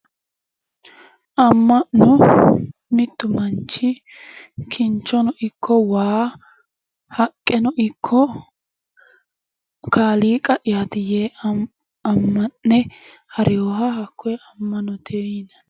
Amma'no mittu manchi kinchono ikko waa haqqeno ikko kaaliiqa'yaati yee amma'ne hareyoha hakkoye amma'note yinanni